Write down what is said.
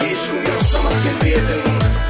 ешкімге ұқсамас келбетің